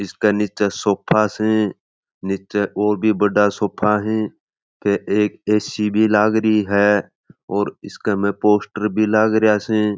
इसके निचे सोफा स निचे और भी बड़ा सोफा है फिर एक ये सीडी लागरी है और इसके में पोस्टर भी लागरिया स।